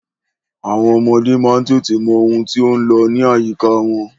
Àwọn ọmọdé má ń tètè mọ ohun tí ó ń lọ ní àyíká wọn.